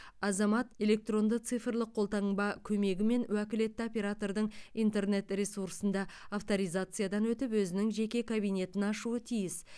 азамат электронды цифрлық қолтаңба көмегімен уәкілетті оператордың интернет ресурсында авторизациядан өтіп өзінің жеке кабинетін аушы тиіс